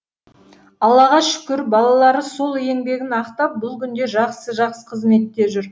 аллаға шүкір балалары сол еңбегін ақтап бұл күнде жақсы жақсы қызметте жүр